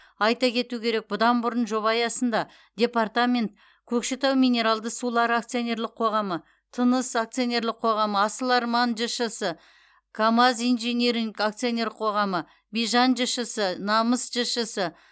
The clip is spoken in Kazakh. айта кету керек бұдан бұрын жоба аясында департамент көкшетау минералды сулары акционерлік қоғамы тыныс акционерлік қоғамы асыл арман жшс камаз инжиниринг акционерлік қоғамы бижан жшс намыс жшс